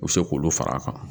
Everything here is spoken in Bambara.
U bɛ se k'olu far'a kan